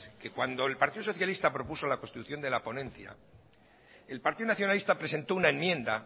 que cuando el partido socialista propuso la constitución de la ponencia el partido nacionalista presentó una enmienda